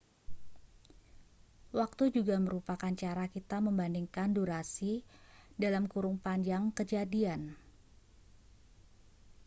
waktu juga merupakan cara kita membandingkan durasi panjang kejadian